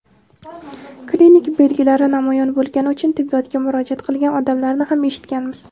klinik belgilari namoyon bo‘lgani uchun tibbiyotga murojaat qilgan odamlarni ham eshitganmiz.